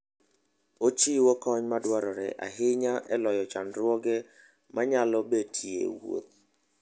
Ochiwo kony madwarore ahinya e loyo chandruoge manyalo betie e wuoth.